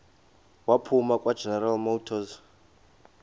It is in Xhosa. waphuma kwageneral motors